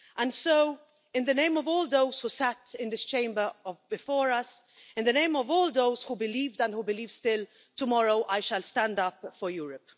And so, in the name of all those who sat in this Chamber before us, in the name of all those who believed and believe still, tomorrow I shall stand up for Europe.